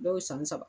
Dɔw san saba